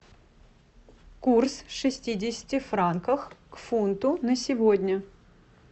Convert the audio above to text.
курс шестидесяти франков к фунту на сегодня